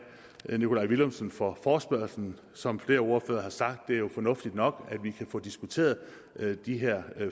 nikolaj villumsen for forespørgslen som flere ordførere har sagt er det jo fornuftigt nok at vi kan få diskuteret de her